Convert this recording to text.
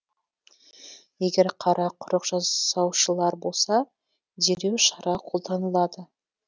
егер қарақұрық жасаушылар болса дереу шара қолданылады